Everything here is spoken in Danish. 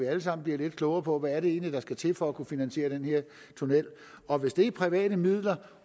alle sammen bliver lidt klogere på hvad det egentlig er der skal til for at kunne finansiere den her tunnel og hvis det er private midler